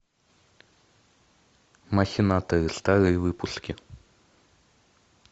махинаторы старые выпуски